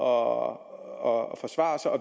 og